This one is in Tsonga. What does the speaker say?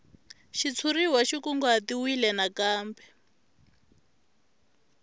xitshuriwa xi kunguhatiwile na kumbe